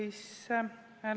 Lugupeetud peaminister!